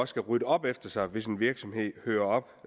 skal rydde op efter sig hvis en virksomhed hører